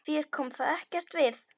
Þér kom það ekkert við!